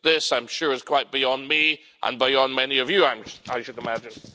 This, I'm sure, is quite beyond me and beyond many of you, I should imagine.